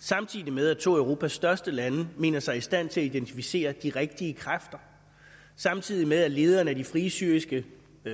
samtidig med at to af europas største lande mener sig i stand til at identificere de rigtige kræfter samtidig med at lederen af de frie syriske